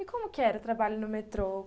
E como que era o trabalho no metrô?